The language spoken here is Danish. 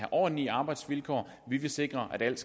ordentlige arbejdsvilkår og vi vil sikre at alt